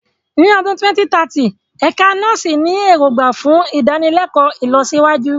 Ní ọdún 2030, Ẹ̀ka Nọ́ọ̀sì ní èrògbà fún ìdánilẹ́kọ̀ọ́ ìlọsíwájú.